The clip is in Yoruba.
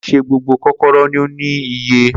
Ko onse gbogbo kokoro ni o ni iyẹ.